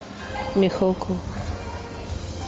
михалков